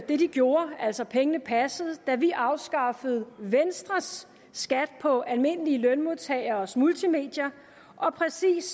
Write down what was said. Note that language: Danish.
det de gjorde altså pengene passede da vi afskaffede venstres skat på almindelige lønmodtageres multimedier og præcis